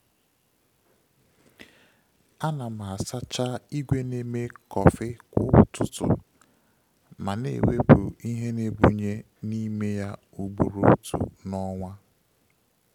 A na m asacha igwe na-eme kọfị kwa ụtụtụ, ma na-ewepụ ihe na-ebunye n'ime ya ugboro otu n’ọnwa.